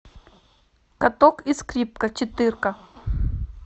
каток и скрипка четыре ка